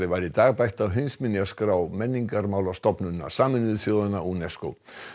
var í dag bætt á heimsminjaskrá Menningarmálastofnunar Sameinuðu þjóðanna UNESCO